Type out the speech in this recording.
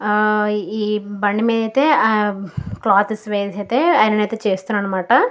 ఈ బండి మీదే క్లాత్ వేసి ఐరన్ ఆయతే చేస్తున్నాడు అనమాట.